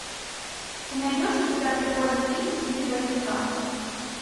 ты найдешь у себя прикольный фильм в стиле боевика